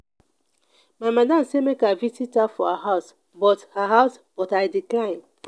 my madam sey make i visit her for her house but her house but i decline.